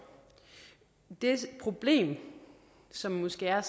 det problem som måske er